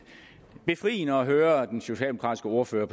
er befriende at høre den socialdemokratiske ordfører